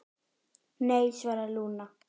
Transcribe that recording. Nei, svaraði Lúna.